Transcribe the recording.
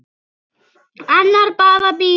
Annað bara bíður.